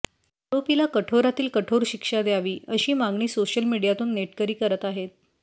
आरोपीला कठोरातील कठोर शिक्षा द्यावी अशी मागणी सोशल मीडयातून नेटकरी करत आहेत